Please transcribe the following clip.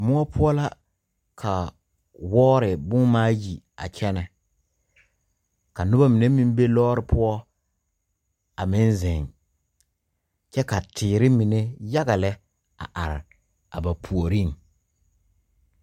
Moɔ pou la ka wɔɔri buma ayi a kyena ka nuba mene meng bɛ loore pou a meng zeng kye ka teere mene yaga le a arẽ a ba poɔring.